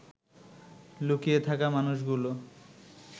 লুকিয়ে থাকা মানুষগুলো